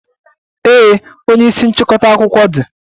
Ee, onye isi nchịkọta akụkọ dị.